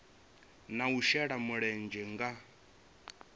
na u shela mulenzhe nga